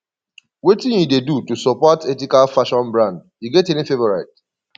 wetin you dey do to support ethical fashion brand you get any favorite